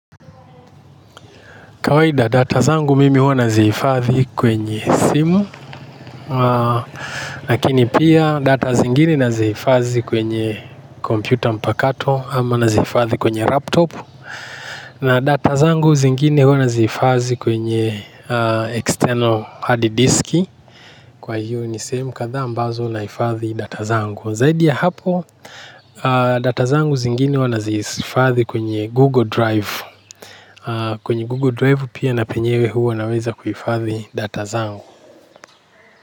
Kawaida data zangu mimi huwa nazihifadhi kwenye simu. Lakini pia data zingine nazihifadhi kwenye kompyuta mpakato ama nazihifadhi kwenye laptop. Na data zangu zingine huwa nazihifadhi kwenye external hard disk. Kwa hiyo ni sehemu kadhaa ambazo nahifadhi data zangu. Zaidi ya hapo data zangu zingine huwa nazihifadhi kwenye google drive. Kwenye Google Drive pia na penyewe huwa naweza kuhifadhi data zangu.